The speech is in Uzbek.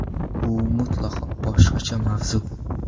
U mutlaqo boshqa mavzu.